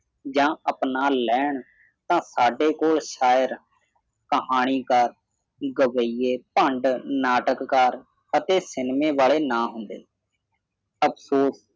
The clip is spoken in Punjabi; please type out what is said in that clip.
ਜਾਂ ਅਪਣਾ ਲੈਣ ਤਾਂ ਸਾਡੇ ਕੋਲ ਸ਼ਾਇਦ ਕਹਾਣੀਕਾਰ ਗਵਾਈਏ ਭਾਂਡ ਨਾਟਕਕਾਰ ਅਤੇ cinema ਵਾਲੇ ਨਹੀਂ ਹੁੰਦੇ ਅਫਸੋਸ